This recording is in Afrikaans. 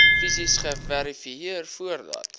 fisies geverifieer voordat